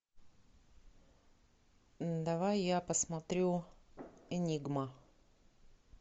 давай я посмотрю энигма